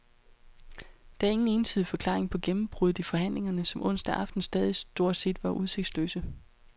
Der er ingen entydig forklaring på gennembruddet i forhandlingerne, som onsdag aften stadig stort set var udsigtsløse.